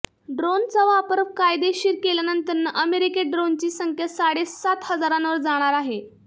ड्रोनचा वापर कायदेशीर केल्यानंतर अमेरिकेत ड्रोनची संख्या साडेसात हजारांवर जाणार आहे